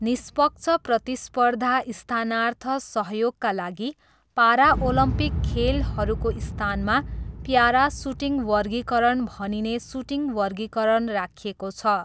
निष्पक्ष प्रतिस्पर्धा स्थानार्थ सहयोगका लागि, पाराओलम्पिक खेलहरूको स्थानमा प्यारा सुटिङ वर्गीकरण भनिने सुटिङ वर्गीकरण राखिएको छ।